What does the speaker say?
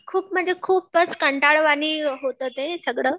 खूप म्हणजे खूपच कंटाळवाणी होतं ते सगळं.